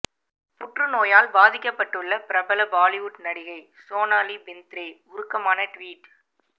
புற்றுநோயால் பாதிக்கப்பட்டுள்ள பிரபல பாலிவுட் நடிகை சோனாலி பிந்த்ரே உருக்கமான ட்வீட்